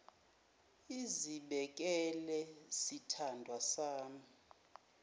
izibekele sithandwa sami